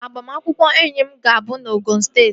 Agbamakwụkwọ enyi m ga-abụ na Osun steeti